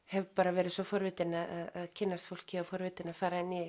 hef verið svo forvitin að kynnast fólki forvitin að fara í